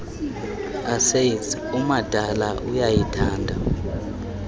essays umadala uyayithanda